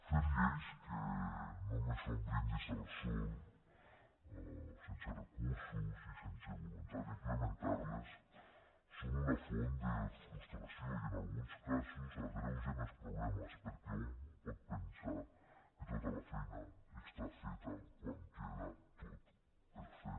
fer lleis que només són brindis al sol sense recursos i sense voluntat d’implementar les són una font de frustració i en alguns casos agreugen els problemes perquè un pot pensar que tota la feina està feta quan queda tot per fer